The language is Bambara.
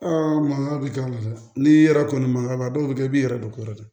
mankan bɛ k'a la dɛ n'i yɛrɛ kɔni man mankan dɔw kɛ i b'i yɛrɛ don kɔrɔ dɛ